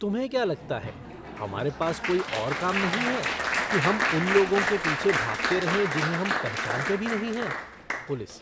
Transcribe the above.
तुम्हें क्या लगता है, हमारे पास कोई और काम नहीं है कि हम उन लोगों के पीछे भागते रहें जिन्हें हम पहचानते भी नहीं हैं? पुलिस